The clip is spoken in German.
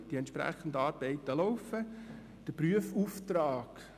Die entsprechenden Arbeiten sind am Laufen.